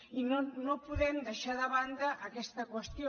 i no podem deixar de banda aquesta qüestió